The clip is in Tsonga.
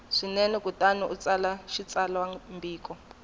swinene kutani u tsala xitsalwambiko